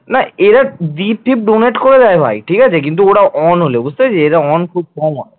না এরা gift donate করে দেয় ভাই ঠিক আছে কিন্তু ওরা on হলে বুঝতে পেরেছিস এইটা on করতে হয় না